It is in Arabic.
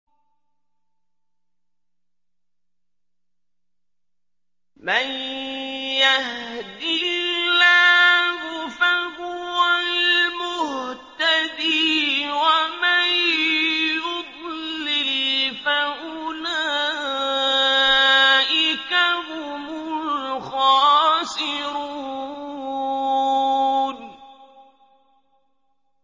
مَن يَهْدِ اللَّهُ فَهُوَ الْمُهْتَدِي ۖ وَمَن يُضْلِلْ فَأُولَٰئِكَ هُمُ الْخَاسِرُونَ